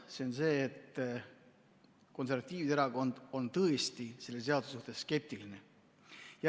See on see, et konservatiivide erakond on tõesti selle seaduse suhtes skeptiline.